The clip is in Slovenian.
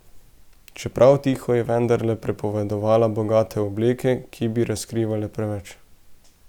Čeprav tiho, je vendarle prepovedovala bogate obleke, ki bi razkrivale preveč.